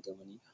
dha.